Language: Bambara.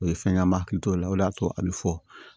O ye fɛn ye an m'a hakili to o la o de y'a to a bɛ fɔ